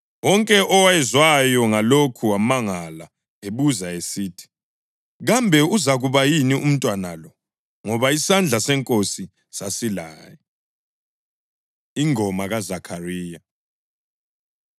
Wonke owezwayo ngalokho wamangala ebuza esithi, “Kambe uzakuba yini umntwana lo?” Ngoba isandla seNkosi sasilaye. Ingoma KaZakhariya